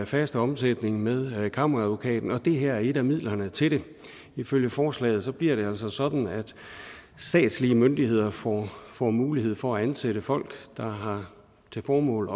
faste omsætning med kammeradvokaten og det her er et af midlerne til det ifølge forslaget bliver det altså sådan at statslige myndigheder får får mulighed for at ansætte folk der har til formål